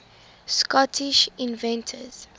scottish inventors